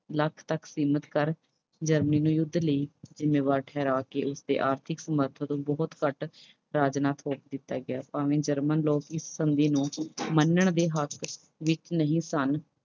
ਲੱਖ ਤੱਕ ਸੀਮਤ ਕਰ Germany ਨੂੰ ਯੁੱਧ ਲਈ ਜ਼ਿੰਮੇਵਾਰ ਠਹਿਰਾ ਕੇ ਇਸਦੇ ਆਰਥਿਕ ਨੂੰ ਬਹੁਤ ਘੱਟ ਕੀਤਾ ਗਿਆ। ਭਾਵੇਂ German ਦੇ ਲੋਕ ਇਸ ਸੰਧੀ ਨੂੰ ਮੰਨਣ ਦੇ ਹੱਕ ਵਿੱਚ ਨਹੀਂ ਸਨ।